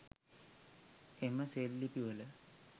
එම සෙල් ලිපිවල